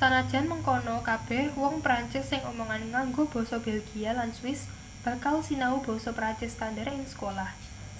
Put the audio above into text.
senajan mengkono kabeh wong perancis sing omongan ngango basa belgia lan swiss bakal sinau basa perancis standar ing sekolah